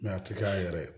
a tɛ taa yɛrɛ